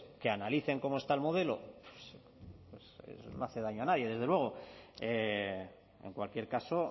que analicen cómo está el modelo pues no hace daño a nadie desde luego en cualquier caso